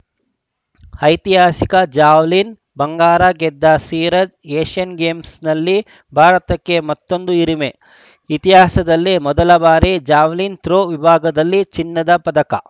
ಐತಿಹಾಸಿಕ ಜಾವೆಲಿನ್‌ ಬಂಗಾರ ಗೆದ್ದ ನೀರಜ್‌ ಏಷ್ಯನ್‌ ಗೇಮ್ಸ್‌ನಲ್ಲಿ ಭಾರತಕ್ಕೆ ಮತ್ತೊಂದು ಹಿರಿಮೆ ಇತಿಹಾಸದಲ್ಲೇ ಮೊದಲ ಬಾರಿ ಜಾವೆಲಿನ್‌ ಥ್ರೋ ವಿಭಾಗದಲ್ಲಿ ಚಿನ್ನದ ಪದಕ